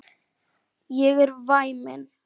Ég er væmin.